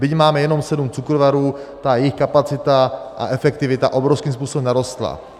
Byť máme jenom sedm cukrovarů, ta jejich kapacita a efektivita obrovským způsobem narostla.